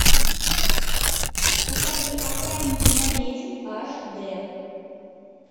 покажи охранники на ведьм аш д